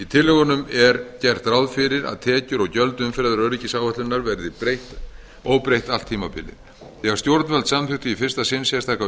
tillögunum er gert ráð fyrir að tekjur og gjöld umferðaröryggisáætlunar verði óbreytt allt tímabilið þegar stjórnvöld samþykktu í fyrsta sinn sérstaka